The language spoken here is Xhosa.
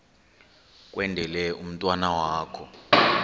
kwendele umntwana wakho